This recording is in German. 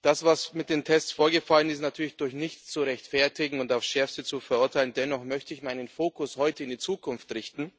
Das, was mit den Tests vorgefallen ist, ist natürlich durch nichts zu rechtfertigen und auf das Schärfste zu verurteilen. Dennoch möchte ich meinen Fokus heute in die Zukunft richten,